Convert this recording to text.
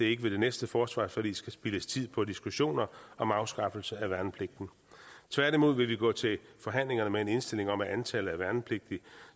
ikke ved det næste forsvarsforlig skal spildes tid på diskussioner om afskaffelse af værnepligten tværtimod vil vi gå til forhandlingerne med en indstilling om at antallet af værnepligtige